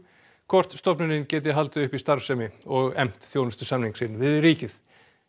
hvort stofnunin geti haldið uppi starfsemi og efnt þjónustusamning sinn við ríkið